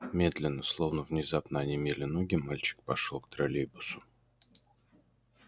медленно словно внезапно онемели ноги мальчик пошёл к троллейбусу